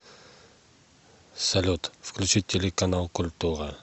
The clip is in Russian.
салют включить телеканал культура